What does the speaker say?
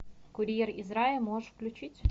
курьер из рая можешь включить